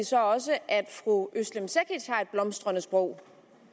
så også at fru özlem cekic har et blomstrende sprog